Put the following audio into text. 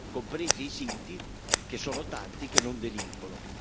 compresi i sinti che sono tanti che non delinquono.